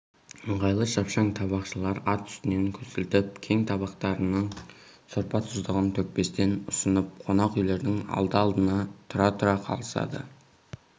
ыңғайлы шапшаң табақшылар ат үстінен көсілтіп кеп табақтарының сорпа-тұздығын төкпестен ұсынып қонақ үйлердің алды-алдына тұра-тұра қалысады